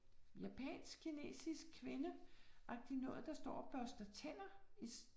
Japansk kinesisk kvinde agtigt noget, der står og børster tænder